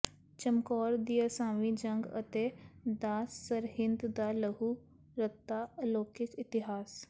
ਚਮਕੌਰ ਦੀ ਅਸਾਵੀਂ ਜੰਗ ਅਤੇ ਦਾ ਸਰਹਿੰਦ ਦਾ ਲਹੂ ਰੱਤਾ ਅਲੋਕਿਕ ਇਤਿਹਾਸ